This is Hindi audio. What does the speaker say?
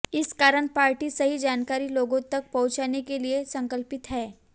इस कारण पार्टी सही जानकारी लोगों तक पहुंचाने के लिए संकल्पित है